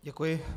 Děkuji.